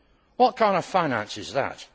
What kind of finance is that?